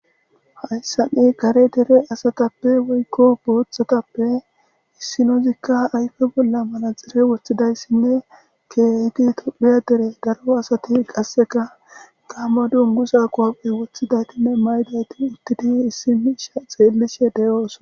Hayssani kare dere asatappe woykko booththatappe issinozikka ayfe bolla mana xere woththidayssinne keehidi tophiya dere garo asati qasseka gaamma dungu saa qoappe woththidaytinne maydati uttidi issim isha xeellishe deyoosa.